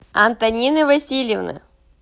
антонины васильевны